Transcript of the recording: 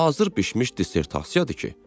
Hazır bişmiş dissertasiyadır ki.